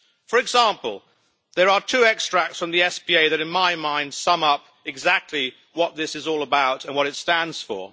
For example, there are two extracts from the SPA that, to my mind, sum up exactly what this is all about and what it stands for.